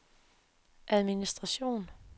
administration